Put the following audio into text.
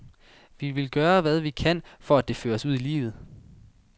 Vi vil gøre, hvad vi kan for at det føres ud i livet.